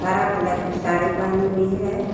हरा कलर की साड़ी पहनी हुई है।